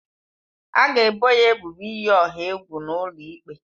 A ga-ebo ya ebubo iyi ọha egwu n'ụlọ ikpe.